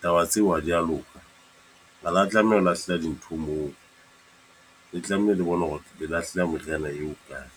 Taba ya tsebo ha di a loka. Ha la tlameha ho lahleha dintho moo, le tlameha le bona hore le lahlela meriana eo kae.